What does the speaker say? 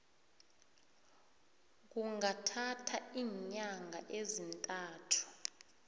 kungathatha iinyanga ezintathu